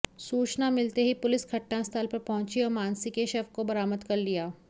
सूचना मिलते ही पुलिस घटनास्थल पर पहुंची और मानसी के शव को बरामद कर लिया